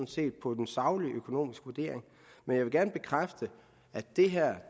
set på en saglig økonomisk vurdering men jeg vil gerne bekræfte at det her